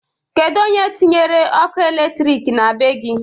Kedu onye tinyere ọkụ elektrik na bee gi?